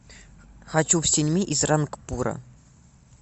хочу в синьми из рангпура